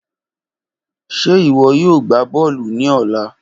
Ṣe iwọ yoo gba bọọlu ni ọla?